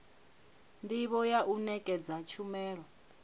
ndivho ya u nekedza tshumelo